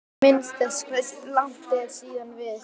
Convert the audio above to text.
Minnist þess hversu langt er síðan við